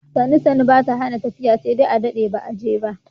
Sannu sannu ba ta hana tafiya sai dai adaɗe ba a jefa.